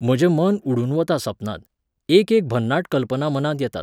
म्हजे मन उडून वता सपनांत, एक एक भन्नाट कल्पना मनांत येतात.